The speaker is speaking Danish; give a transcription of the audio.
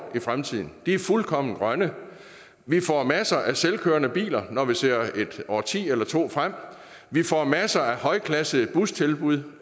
i fremtiden de er fuldkommen grønne vi får masser af selvkørende biler når vi ser et årti eller to frem vi får masser af højklassede bustilbud